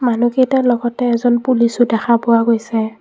মানুহ কেইটাৰ লগতে এজন পুলিচো দেখা পোৱা গৈছে।